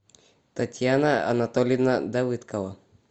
татьяна анатольевна давыдкова